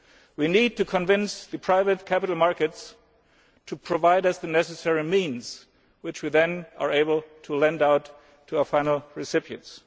We need to convince the private capital markets to provide us with the necessary means which we are then able to lend out to our final recipients.